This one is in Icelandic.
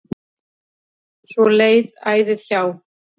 Svo leið æðið hjá.